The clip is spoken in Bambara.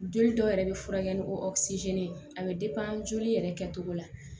Joli dɔ yɛrɛ bɛ furakɛ ni o a bɛ joli yɛrɛ kɛcogo la